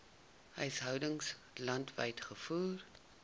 huishoudings landwyd gevoer